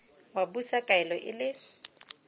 wa busa kaelo e le